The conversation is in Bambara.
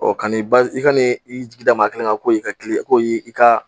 Ɔ ka n'i i ka n'i jigida maa kelen kan, ko y'i ka ko y'i i ka